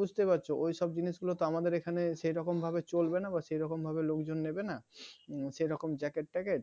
বুঝতে পারছ ওই সব জিনিসগুলো আমাদের এখানে সে রকম ভাবে চলবে না বা সেরকম ভাবে না লোকজন নেবে না সেরকম jacket ট্যাকেট